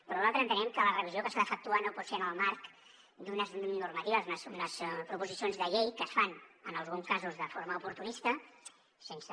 però nosaltres entenem que la revisió que s’ha d’efectuar no pot ser en el marc d’unes normatives unes proposicions de llei que es fan en alguns casos de forma oportunista sense